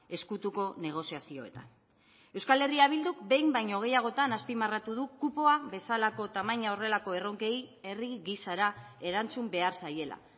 ezkutuko negoziazioetan euskal herria bilduk behin baino gehiagotan azpimarratu du kupoa bezalako tamaina horrelako erronkei herri gisara erantzun behar zaiela